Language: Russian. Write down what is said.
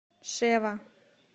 шева